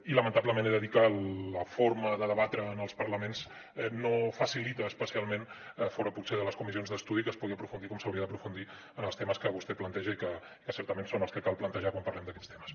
i lamentablement he de dir que la forma de debatre en els parlaments no facilita especialment fora potser de les comissions d’estudi que es pugui aprofundir com s’hauria d’aprofundir en els temes que vostè planteja i que certament són els que cal plantejar quan parlem d’aquests temes